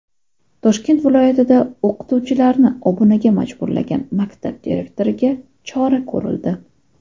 Toshkent viloyatida o‘qituvchilarni obunaga majburlagan maktab direktoriga chora ko‘rildi.